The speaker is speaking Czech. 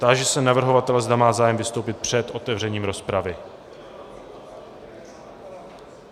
Táži se navrhovatele, zda má zájem vystoupit před otevřením rozpravy.